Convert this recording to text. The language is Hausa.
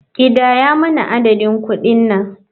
Kidaya mana adadin kuɗin nan.